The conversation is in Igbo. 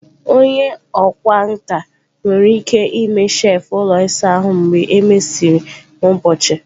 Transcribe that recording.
Onye ọkwá nkà nwere ike ime shelf ụlọ ịsa ahụ mgbe e mesịrị n'ụbọchị.